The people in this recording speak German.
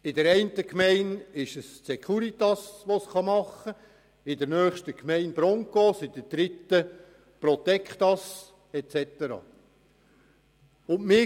in einer Gemeinde könnte es vielleicht die Securitas machen, in einer anderen wären es die Broncos, in einer dritten die Protectas und so weiter.